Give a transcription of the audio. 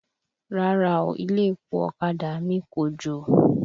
Rárá o, ilé-epo ọ̀kadà mi kòjò.